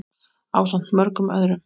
ásamt mörgum öðrum.